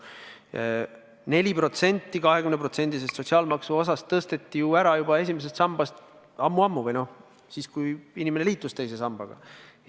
Aga 4% 20%-sest sotsiaalmaksuosast tõsteti ju esimesest sambast ammu-ammu ära, see oli siis, kui inimene liitus teise sambaga.